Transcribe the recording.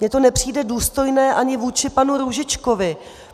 Mně to nepřijde důstojné ani vůči panu Růžičkovi.